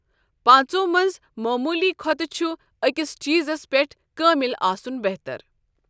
پانٛژھو منٛز معموٗلی کھۄتہٕ چھُ أکِس چیٖزَس پٮ۪ٹھ کٲمل آسُن بہتر۔